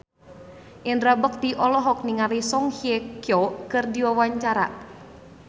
Indra Bekti olohok ningali Song Hye Kyo keur diwawancara